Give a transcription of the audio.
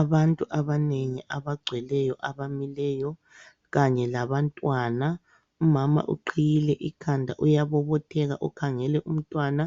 Abantu abanengi abagcweleyo abamileyo kanye labantwana. Umama uqhiyile ikhanda uyabobotheka ukhangele umntwana.